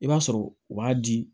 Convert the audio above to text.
I b'a sɔrɔ u b'a di